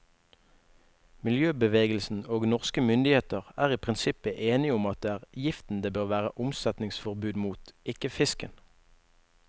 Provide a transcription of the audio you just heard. Miljøbevegelsen og norske myndigheter er i prinsippet enige om at det er giften det bør være omsetningsforbud mot, ikke fisken.